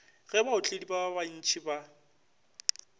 ge baotledi ba bantši ba